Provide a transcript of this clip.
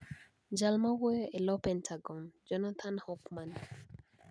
Jal mawuoyo e lo Pentagon, Jonathan Hoffman